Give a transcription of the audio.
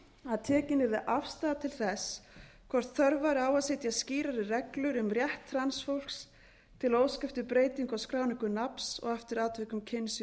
að tekin yrði afstaða til þess hvort þörf væri á að setja skýrari reglur um rétt transfólks til að óska eftir breytingu á skráningu nafns og eftir atvikum kyns í